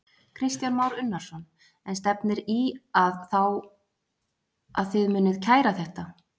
Kristján Már Unnarsson: En stefnir í að þá að þið munið kæra þetta?